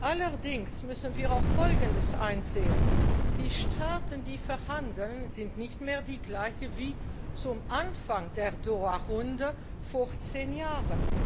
Allerdings müssen wir auch Folgendes einsehen Die Staaten, die verhandeln, sind nicht mehr die gleichen wie zu Anfang der Doha Runde vor zehn Jahren.